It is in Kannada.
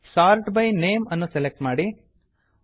sort by name sort by name ಅನ್ನು ಸೆಲೆಕ್ಟ್ ಮಾಡಿ